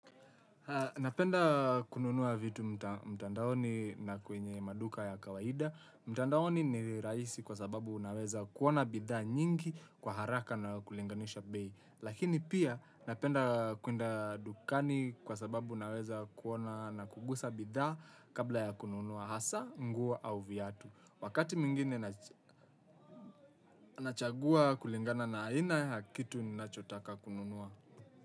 Napenda kununua vitu mtandaoni na kwenye maduka ya kawaida. Mtandaoni ni rahisi kwa sababu naweza kuona bidhaa nyingi kwa haraka na kulinganisha bei. Lakini pia napenda kwenda dukani kwa sababu naweza kuona na kugusa bidhaa kabla ya kununua hasa, nguo au viatu. Wakati mwingine nachagua kulingana na aina ya kitu na chotaka kununua.